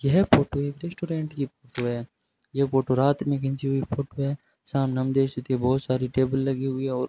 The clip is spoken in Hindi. यह फोटो एक रेस्टोरेंट की फोटो है ये फोटो रात में खींची हुई फोटो है सामने हम देख सकते हैं बहुत सारी टेबल लगी हुई है और --